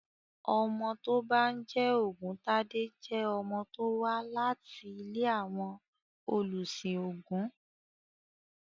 Ọmọ tó bá ń jẹ́ Ògúntade jẹ́ ọmọ tó wà láti ilé àwọn olùsìn ògún.